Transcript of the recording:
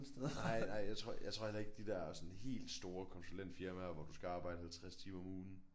Nej nej jeg tror jeg tror heller ikke de der sådan helt store konsulentfirmaer hvor du skal arbejde 50 timer om ugen